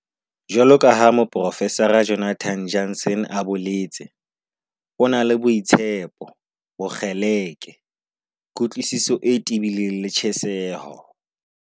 Jwaloka ha Moprofesara Jonathan Jansen a boletse- "O na le boitshepo, bokgeleke, kutlwisiso e tebileng le tjheseho."